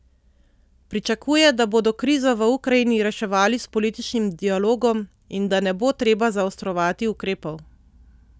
Pričakuje, da bodo krizo v Ukrajini reševali s političnim dialogom in da ne bo treba zaostrovati ukrepov.